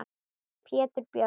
Pétur Björn.